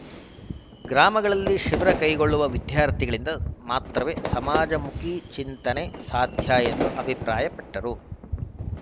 ಗ್ರಾಮಗಳಲ್ಲಿ ಶಿಬಿರ ಕೈಗೊಳ್ಳುವ ವಿದ್ಯಾರ್ಥಿಗಳಿಂದ ಮಾತ್ರವೇ ಸಮಾಜಮುಖಿ ಚಿಂತನೆ ಸಾಧ್ಯಎಂದು ಅಭಿಪ್ರಾಯಪಟ್ಟರು